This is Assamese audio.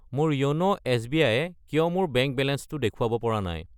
মোৰ য়োন' এছ.বি.আই. য়ে কিয় মোৰ বেংক বেলেঞ্চটো দেখুৱাব পৰা নাই?